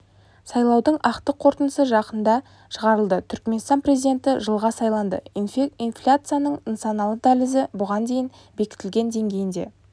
сайлаудың ақтық қорытындысы жақында шығарылады түркменстан президенті жылға сайланады инфляцияның нысаналы дәлізі бұған дейін бекітілген деңгейінде